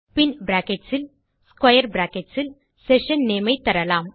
பின் brackets இல் square brackets இல் session name ஐத்தரலாம்